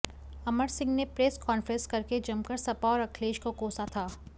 अमर सिंह ने press conference करके जमकर सपा और अखिलेश को कोसा था